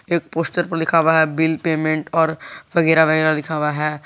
एक पोस्टर पर लिखा हुआ है बिल पेमेंट और वगैरा वगैरा लिखा हुआ है।